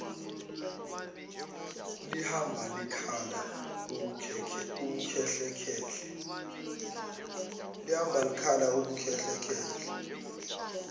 lihamba likhala ubukhehlekhehle